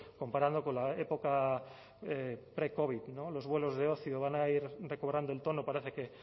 comparando con la época precovid los vuelos de ocio van a ir recobrando el tono parece que